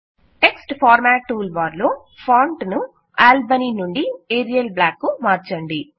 text format tool bar లో font ను Albany నుండి ఏరియల్ బ్లాక్ కు మార్చండి